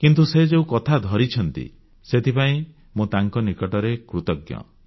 କିନ୍ତୁ ସେ ଯେଉଁକଥା ଧରିଛନ୍ତି ସେଥିପାଇଁ ମୁଁ ତାଙ୍କ ନିକଟରେ କୃତଜ୍ଞ